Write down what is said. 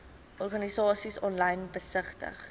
organisasies aanlyn besigtig